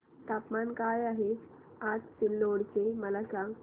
तापमान काय आहे आज सिल्लोड चे मला सांगा